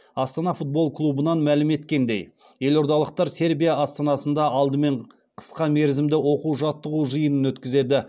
астана футбол клубынан мәлім еткеніндей елордалықтар сербия астанасында алдымен қысқа мерзімді оқу жаттығу жиынын өткізеді